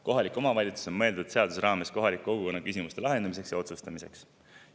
Kohalik omavalitsus on mõeldud seaduse raames kohaliku kogukonna küsimuste lahendamiseks ja otsuste tegemiseks.